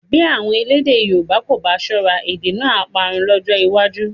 Bí àwọn elédè Yorùbá kò bá ṣọ́ra, èdè náà á parun lọ́jọ́ iwájú